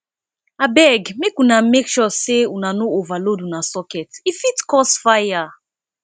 abeg make una make sure sey una no overload una socket e fit cause fire